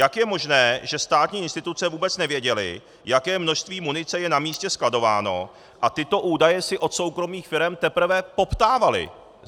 Jak je možné, že státní instituce vůbec nevěděly, jaké množství munice je na místě skladováno, a tyto údaje si od soukromých firem teprve poptávaly?